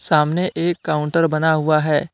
सामने एक काउंटर बना हुआ है।